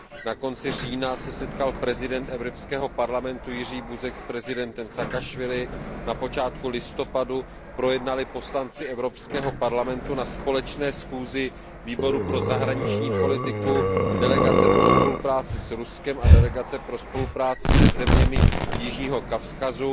Na konci října se setkal prezident Evropského parlamentu Jerzy Buzek s prezidentem Saakašvilim, na počátku listopadu projednali poslanci Evropského parlamentu na společné schůzi Výboru pro zahraniční politiku, delegace pro spolupráci s Ruskem a delegace pro spolupráci se zeměmi Jižního Kavkazu